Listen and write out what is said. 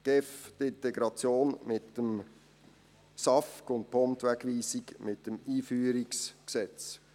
Die GEF sorgt für die Integration mit dem SAFG und die POM für die Wegweisung mit dem Einführungsgesetz.